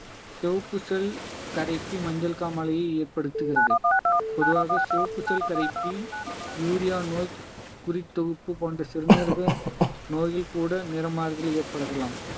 செவப்பு செல் கரைப்பி மஞ்சள் காமாலையை ஏற்படுத்துகிறது பொதுவாக செவப்பு செல் கரைப்பி யூரியா நோய் குறித்தொகுப்பு போன்ற சிறுநீரக நோயில் கூட நிற மாறுதல் ஏற்படுத்தலாம்